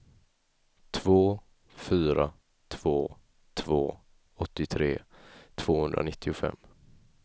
två fyra två två åttiotre tvåhundranittiofem